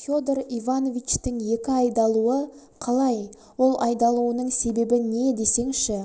федор ивановичтің екі айдалуы қалай ол айдалуының себебі не десеңші